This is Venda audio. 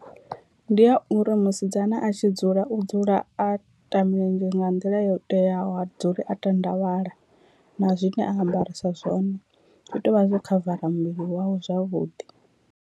Ndi a uri musidzana a tshi dzula u dzula a ta milenzhe nga nḓila yo teaho ha dzuli a tandavhala, na zwine a ambarisa zwone zwi tea uvha zwo khavara muvhili wawe zwavhuḓi.